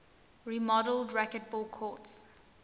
remodeled racquetball courts